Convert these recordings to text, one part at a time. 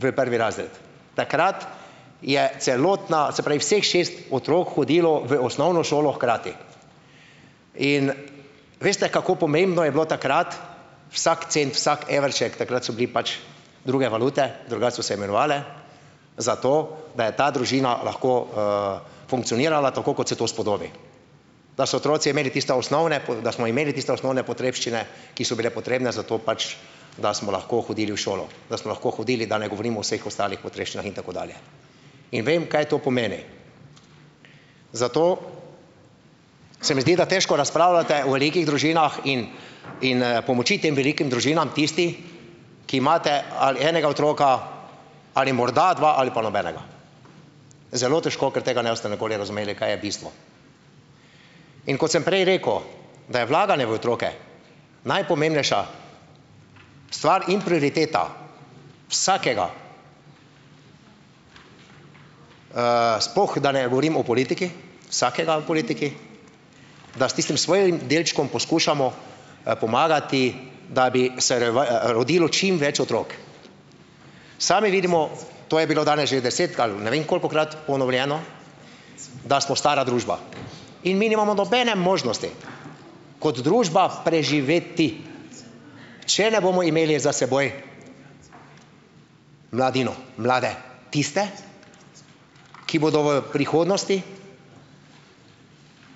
v prvi razred. Takrat je celotna, se pravi vseh šest otrok hodilo v osnovno šolo hkrati in veste, kako pomembno je bilo takrat vsak cent, vsak evrček, takrat so bili pač druge valute, drugače so se imenovale, zato da je ta družina lahko funkcionirala tako, kot se to spodobi. Da so otroci imeli tiste osnovne da smo imeli tiste osnovne potrebščine, ki so bile potrebne za to pač, da smo lahko hodili v šolo, da smo lahko hodili, da ne govorim o vseh ostalih potrebščinah in tako dalje. In vem, kaj to pomeni, zato se mi zdi, da težko razpravljate o velikih družinah in in pomoči tem velikim družinam tisti, ki imate ali enega otroka ali morda dva ali pa nobenega. Zelo težko, ker tega ne boste nikoli razumeli, kaj je bistvo. In kot sem prej rekel, da je vlaganje v otroke najpomembnejša stvar in prioriteta vsakega, sploh da ne govorim o politiki, vsakega v politiki, da s tistim svojim delčkom poskušamo pomagati, da bi se rodilo čim več otrok. Sami vidimo, to je bilo danes že desetkrat ali ne vem kolikokrat ponovljeno, da smo stara družba in mi nimamo nobene možnosti kot družba preživeti, če ne bomo imeli za seboj mladino, mlade, tiste, ki bodo v prihodnosti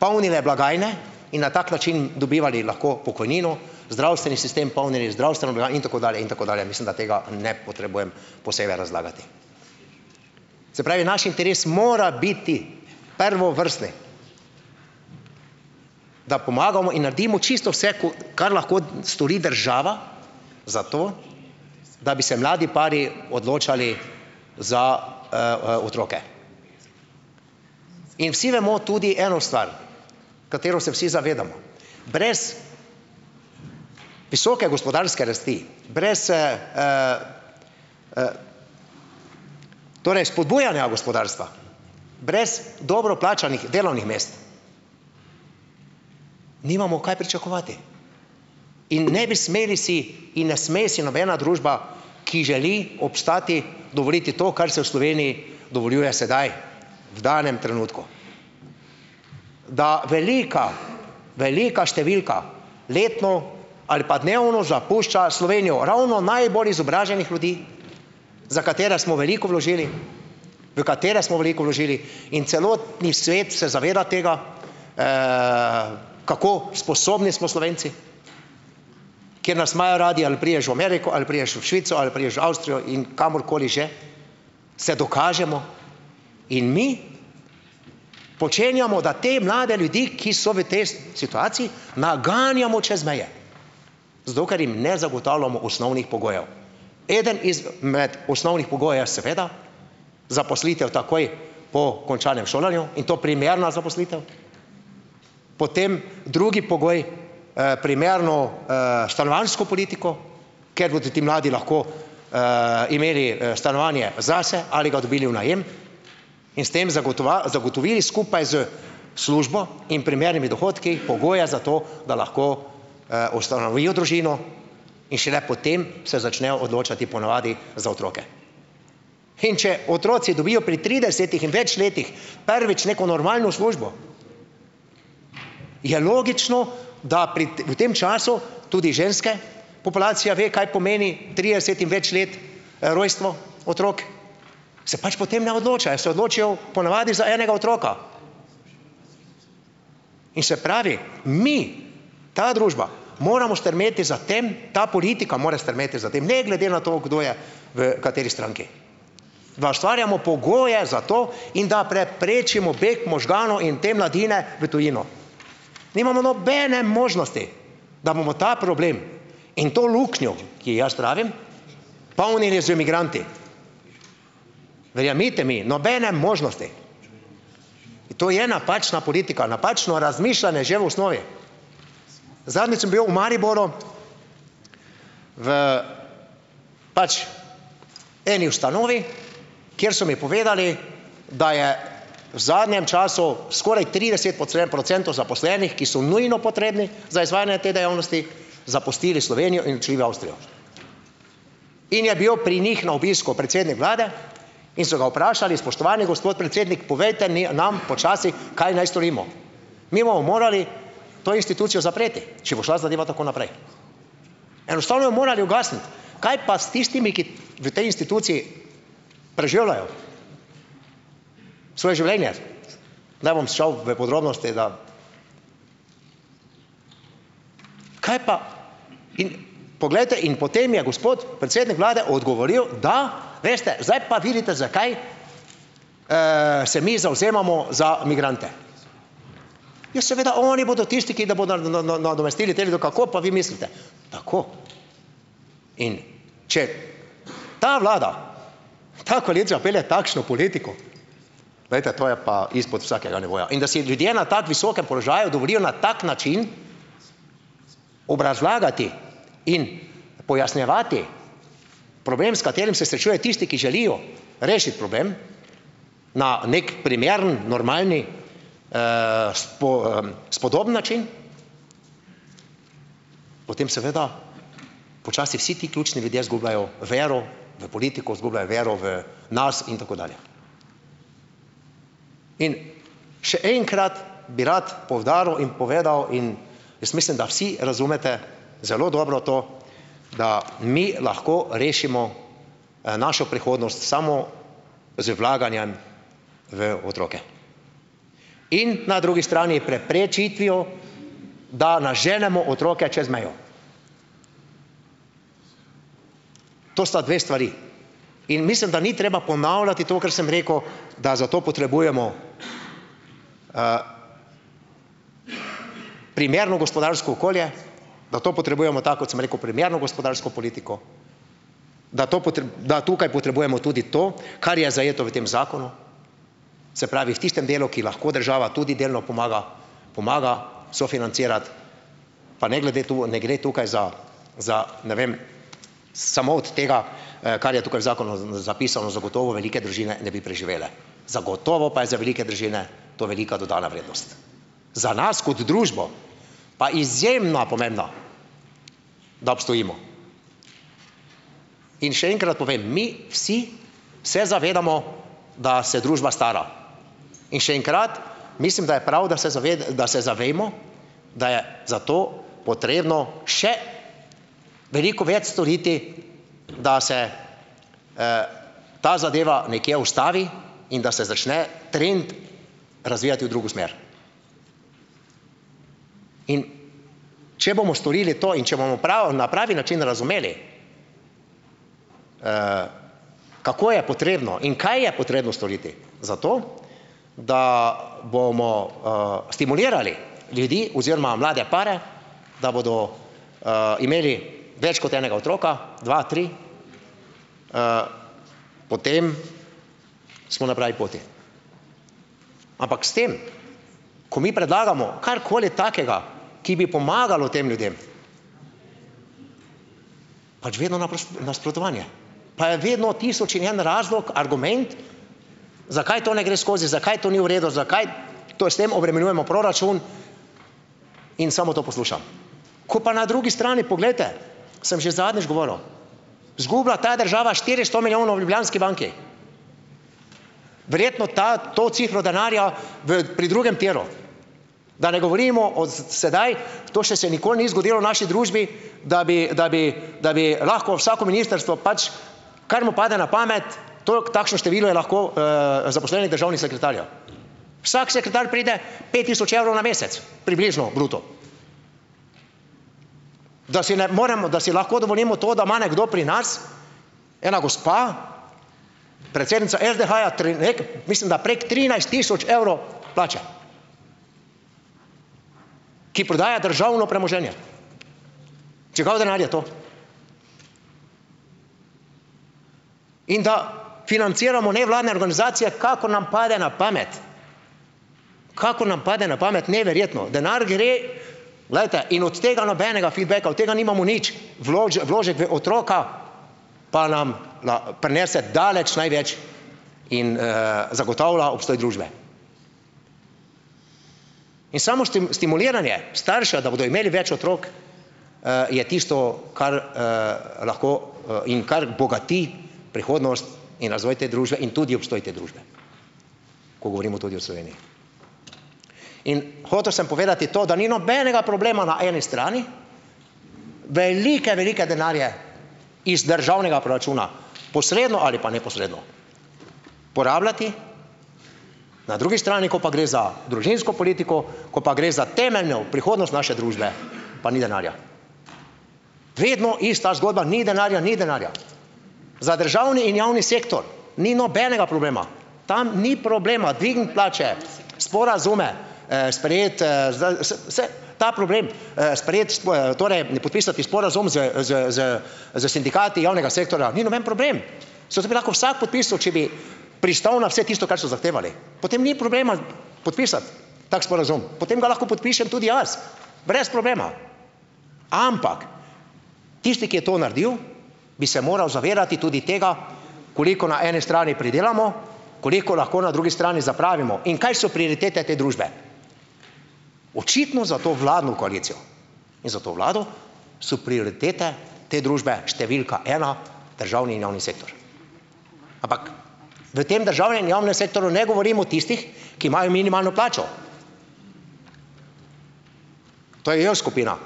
polnile blagajne in na tak način dobivali lahko pokojnino, zdravstveni sistem, polnili zdravstveno in tako dalje in tako dalje. Mislim, da tega ne potrebujem posebej razlagati. Se pravi naš interes mora biti prvovrstni, da pomagamo in naredimo čisto vse, ko kar lahko stori država za to, da bi se mladi pari odločali za otroke. In vsi vemo tudi eno stvar, katero se vsi zavedamo - brez visoke gospodarske rasti, brez torej spodbujanja gospodarstva, brez dobro plačanih delovnih mest nimamo kaj pričakovati in ne bi smeli si in ne sme si nobena družba, ki želi obstati, dovoliti to, kar se v Sloveniji dovoljuje sedaj v danem trenutku. Da velika, velika številka letno ali pa dnevno zapušča Slovenijo, ravno najbolj izobraženih ljudi, za katere smo veliko vložili, v katere smo veliko vložili, in celotni svet se zaveda tega, kako sposobni smo Slovenci, ker nas imajo radi, ali prideš v Ameriko, ali prideš v Švico, ali prideš v Avstrijo in kamorkoli že - se dokažemo in mi počenjamo, da te mlade ljudi, ki so v tej situaciji, naganjamo čez meje, zato, ker jim ne zagotavljamo osnovnih pogojev. Eden izmed osnovnih pogojev je seveda zaposlitev takoj po končanem šolanju, in to primerna zaposlitev. Potem drugi pogoj, primerno stanovanjsko politiko, ker bodo ti mladi lahko imeli stanovanje zase ali ga dobili v najem in s tem zagotovili skupaj s službo in primernimi dohodki, pogoje za to, da lahko ustanovijo družino in šele potem se začnejo odločati po navadi za otroke. In če otroci dobijo pri tridesetih in več letih prvič neko normalno službo, ja, logično, da pri v tem času, tudi ženske populacija ve, kaj pomeni trideset in več let rojstvo otrok, se pač potem ne odločajo. Se odločijo po navadi za enega otroka in, se pravi mi, ta družba, moramo strmeti za tem, ta politika mora strmeti za tem, ne glede na to, kdo je v kateri stranki, da ustvarjamo pogoje za to in da preprečimo beg možganov in te mladine v tujino. Nimamo nobene možnosti, da bomo ta problem in to luknjo, ki ji jaz pravim, polnili z migranti. Verjemite mi, nobene možnosti, in to je napačna politika, napačno razmišljanje že v osnovi. Zadnjič sem bil v Mariboru v pač eni ustanovi, kjer so mi povedali, da je v zadnjem času skoraj trideset procentov zaposlenih, ki so nujno potrebni za izvajanje te dejavnosti, zapustili Slovenijo in odšli v Avstrijo. In je bil pri njih na obisku predsednik vlade in so ga vprašali, spoštovani gospod predsednik, povejte, ne, nam počasi kaj naj storimo. Mi bomo morali to institucijo zapreti, če bo šla zadeva tako naprej. Enostavno jo morali ugasniti. Kaj pa s tistimi, ki v tej instituciji preživljajo svoje življenje? Ne bom šel v podrobnosti, da ... Kaj pa? In Poglejte, in potem je gospod predsednik vlade odgovoril da, veste, zdaj pa vidite, zakaj se mi zavzemamo za migrante. Ja, seveda, oni bodo tisti, ki da bodo nadomestili te ljudi, kako pa vi mislite. Tako. In če ta vlada, ta koalicija pelje takšno politiko, glejte, to je pa izpod vsakega nivoja. In da si ljudje na tako visokem položaju dovolijo na tak način obrazlagati in pojasnjevati problem, s katerim se srečujejo tisti, ki želijo rešiti problem na neki primeren normalni spodoben način, potem seveda počasi vsi ti ključni ljudje izgubljajo vero v politiko, izgubljajo vero v nas in tako dalje. In še enkrat bi rad poudaril in povedal in, jaz mislim, da vsi razumete zelo dobro to, da mi lahko rešimo našo prihodnost samo z vlaganjem v otroke. In na drugi strani preprečitvijo, da naženemo otroke čez mejo. To sta dve stvari. In mislim, da ni treba ponavljati to, kar sem rekel, da za to potrebujemo primerno gospodarsko okolje, da to potrebujemo, tako kot sem rekel, primerno gospodarsko politiko, da to da tukaj potrebujemo tudi to, kar je zajeto v tem zakonu. Se pravi, v tistem delu, ki lahko država tudi delno pomaga, pomaga sofinancirati pa ne glede, tu ne gre tukaj za, za ne vem, samo od tega kar je tukaj z zakonom zapisano, zagotovo velike družine ne bi preživele, zagotovo pa je za velike družine to velika dodana vrednost. Za nas kot družbo pa izjemno pomembno, da obstojimo. In še enkrat povem, mi vsi se zavedamo, da se družba stara. In še enkrat, mislim, da je prav, da se da se zavemo, da je za to potrebno še veliko več storiti, da se ta zadeva nekje ustavi in da se začne trend razvijati v drugo smer. In če bomo storili to in če bomo prav na pravi način razumeli, kako je potrebno in kaj je potrebno storiti za to, da bomo stimulirali ljudi oziroma mlade pare, da bodo imeli več kot enega otroka, dva, tri, potem smo na pravi poti. Ampak s tem, ko mi predlagamo karkoli takega, ki bi pomagalo tem ljudem, pač vedno nasprotovanje, pa je vedno tisoč in en razlog, argument, zakaj to ne gre skozi, zakaj to ni v redu, zakaj to s tem obremenjujemo proračun in samo to poslušam. Ko pa na drugi strani, poglejte, sem že zadnjič govoril, izgubila ta država štiristo milijonov v Ljubljanski banki, verjetno ta to cifro denarja v pri drugem tiru, da ne govorimo o sedaj, to še se ni nikoli zgodilo v naši družbi, da bi, da bi da bi lahko vsako ministrstvo pač kar mu pade na pamet, toliko takšno število je lahko zaposlenih državnih sekretarjev. Vsak sekretar pride pet tisoč evrov na mesec, približno bruto. Da si ne moremo, da si lahko dovolimo to, da ima nekdo pri nas, ena gospa, predsednica SDH-ja tule nekje mislim, da preko trinajst tisoč evrov plače, ki prodaja državno premoženje. Čigav denar je to? In da financiramo nevladne organizacije, kakor nam pade na pamet. Kakor nam pade na pamet. Neverjetno, denar gre, glejte, in od tega nobenega feedbacka, od tega nimamo nič. Vložek v otroka pa nam prinese daleč največ in zagotavlja obstoj družbe. In samo stimuliranje staršev, da bodo imeli več otrok, je tisto, kar lahko - in kar bogati prihodnost in razvoj te družbe in tudi obstoj te družbe. Ko govorimo tudi o Sloveniji. In hotel sem povedati to, da ni nobenega problema na eni strani. Velike, velike denarje iz državnega proračuna, posredno ali pa neposredno, porabljati, na drugi strani, ko pa gre za družinsko politiko, ko pa gre za temeljno prihodnost naše družbe, pa ni denarja. Vedno ista zgodba - ni denarja, ni denarja. Za državni in javni sektor ni nobenega problema. Tam ni problema dvigniti plače, sporazume sprejeti se - ta problem - sprejeti, torej - ne podpisati sporazum z z z s sindikati javnega sektorja, ni noben problem! Saj to bi lahko vsaj podpisal, če bi pristal na vse tisto, kar so zahtevali. Potem ni problema podpisati tak sporazum. Potem ga lahko podpišem tudi jaz. Brez problema. Ampak! Tisti, ki je to naredil, bi se moral zavedati tudi tega, koliko na eni strani pridelamo, koliko lahko na drugi strani zapravimo. In kaj so prioritete te družbe? Očitno za to vladno koalicijo in za to vlado so prioritete te družbe številka ena - državni in javni sektor. Ampak v tem državnem in javnem sektorju ne govorim o tistih, ki imajo minimalno plačo. To je J skupina.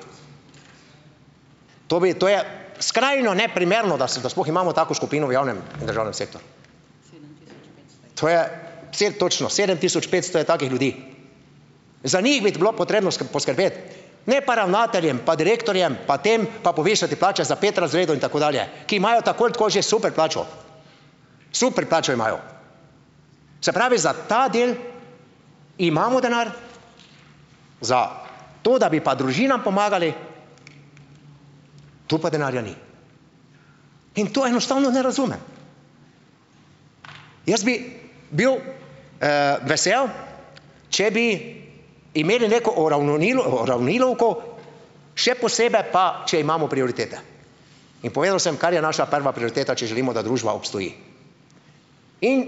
To bi, to je skrajno neprimerno, da se da sploh imamo tako skupino v javnem in državnem sektorju. To je - točno, sedem tisoč petsto je takih ljudi. Za njih biti bilo potrebno poskrbeti. Ne pa ravnateljem pa direktorjem pa tem pa povišati plače za pet razredov in tako dalje. Ki imajo tako ali tako že super plačo. Super plačo imajo. Se pravi, za ta del imamo denar, za to, da bi pa družinam pomagali - tu pa denarja ni. In to enostavno ne razumem. Jaz bi bil vesel, če bi imeli neko uravnilovko, še posebej pa, če imamo prioritete. In povedal sem, kar je naša prva prioriteta, če želimo, da družba obstoji. In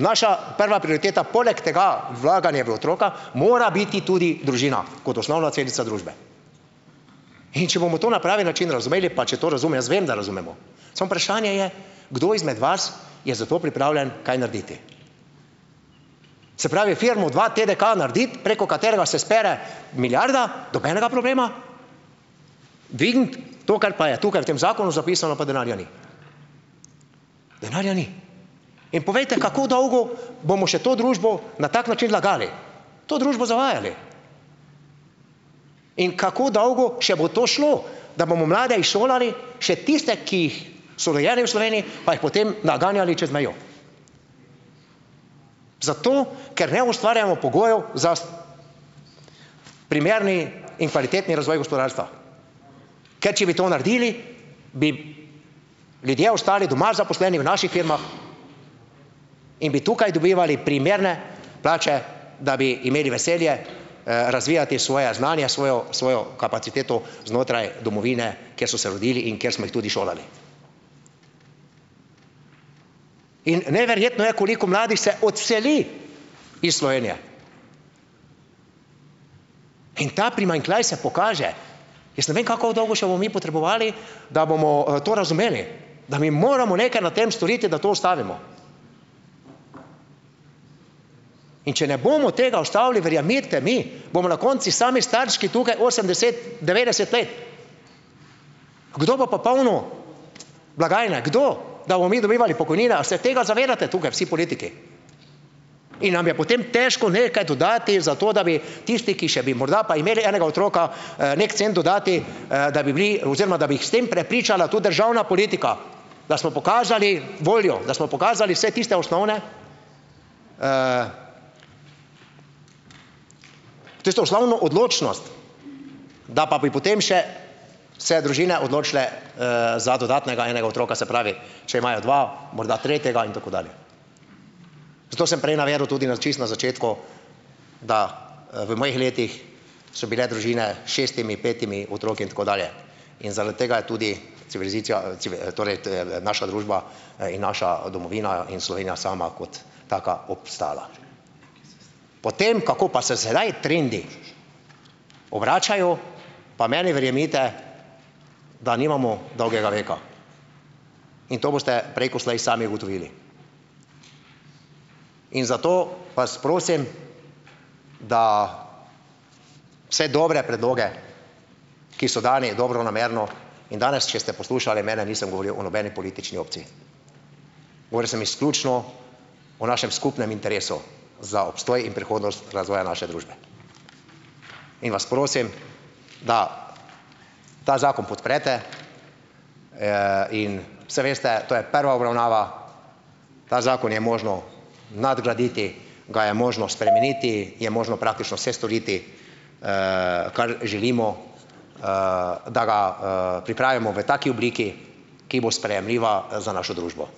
naša prva prioriteta poleg tega - vlaganje v otroka - mora biti tudi družina. Kot osnovna celica družbe. In če bomo to na pravi način razumeli - pa če to - jaz vem, da razumemo. Samo vprašanje je, kdo izmed vas je za to pripravljen kaj narediti. Se pravi firmo v dvaTDK narediti, preko katerega se spere milijarda - nobenega problema. Dvigniti to, kar pa je tukaj v tem zakonu zapisano - pa denarja ni. Denarja ni. In povejte, kako dolgo bomo še to družbo na tak način lagali. To družbo zavajali. In kako dolgo še bo to šlo. Da bomo mlade izšolali - še tiste, ki jih so rojeni v Sloveniji - pa jih potem naganjali čez mejo. Zato ker ne ustvarjamo pogojev za primerni in kvalitetni razvoj gospodarstva. Ker če bi to naredili, bi ljudje ostali doma, zaposleni v naših firmah in bi tukaj dobivali primerne plače, da bi imeli veselje razvijati svoja znanja, svojo svojo kapaciteto znotraj domovine, kjer so se rodili in kjer smo jih tudi šolali. In neverjetno je, koliko mladih se odseli iz Slovenije. In ta primanjkljaj se pokaže. Jaz ne vem, kako dolgo še bomo mi potrebovali, da bomo to razumeli. Da mi moramo nekaj na tem storiti, da to ustavimo. In če ne bomo tega ustavili - verjemite mi, bomo na koncu sami starčki tukaj, osemdeset, devetdeset let. Kdo bo pa polnil blagajne? Kdo? Da bomo mi dobivali pokojnine? A se tega zavedate tukaj vsi politiki? In nam je potem težko nekaj dodati za to, da bi tisti, ki še bi morda pa imeli enega otroka, neki cent dodati, da bi bili oziroma da bi jih s tem prepričala tudi državna politika. Da smo pokazali voljo. Da smo pokazali vsaj tiste osnovne - tisto osnovno odločnost. Da pa bi potem še se družine odločile za dodatnega enega otroka - se pravi, če imajo dva, morda tretjega in tako dalje. Zato sem prej navedel tudi na čisto na začetku, da v mojih letih so bile družine s šestimi, petimi otroki in tako dalje. In zaradi tega je tudi civilizacija - torej, naša družba in naša domovina in Slovenija sama kot taka obstala. Potem, kako pa se sedaj trendi obračajo, pa meni verjemite, da nimamo dolgega veka in to boste prej ko slej sami ugotovili. In zato vas prosim, da vse dobre predloge, ki so dani dobronamerno, in danes, če ste poslušali mene, nisem govoril o nobeni politični opciji. Govoril sem izključno o našem skupnem interesu za obstoj in prihodnost razvoja naše družbe. In vas prosim, da ta zakon podprete in saj veste, to je prva obravnava, ta zakon je možno nadgraditi, ga je možno spremeniti, je možno praktično vse storiti, kar želimo, da ga pripravimo v taki obliki, ki bo sprejemljiva za našo družbo.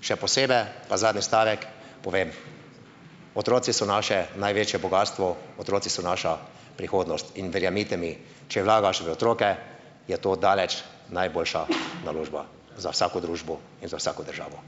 Še posebej pa zadnji stavek povem, otroci so naše največje bogastvo, otroci so naša prihodnost, in verjemite mi, če vlagaš v otroke je to daleč najboljša naložba za vsako družbo in za vsako državo.